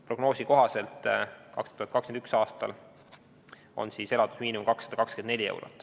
Prognoosi kohaselt on 2021. aastal elatusmiinimum 224 eurot.